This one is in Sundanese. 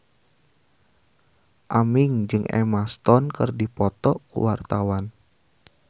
Aming jeung Emma Stone keur dipoto ku wartawan